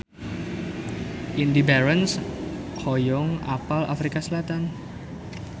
Indy Barens hoyong apal Afrika Selatan